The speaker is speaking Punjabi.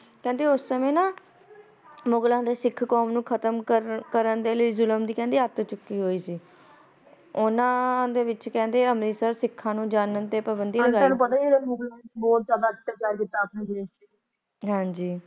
ਕਹਿੰਦੇ ਮੁਗਲਾ ਨੇ ਜੁਲਮ ਦੀ ਅੱਤ ਚੁਕੀ ਹੋਈ ਸੀ ਉਨਾ ਨੇ ਕਹਿੰਦੇ ਸਿਖਾ ਨੂੰ ਅੰਮ੍ਰਿਤਸਰ ਜਾਣ ਤੇ ਪਾਬੰਦੀ ਲਗਾ ਦਿੱਤੀ ਸੀ ਪਤਾ ਹੀ ਹਾ ਮੁਗਲਾਂ ਨੂੰ ਬਹੁਤ ਜਿਆਦ ਅੈਕਟਿਵ ਕਰ ਦਿੱਤਾ ਆਪਣੇ ਦੇਸ ਚ. ਹਾਜੀ